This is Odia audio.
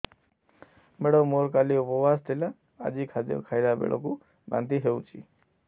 ମେଡ଼ାମ ମୋର କାଲି ଉପବାସ ଥିଲା ଆଜି ଖାଦ୍ୟ ଖାଇଲା ବେଳକୁ ବାନ୍ତି ହେଊଛି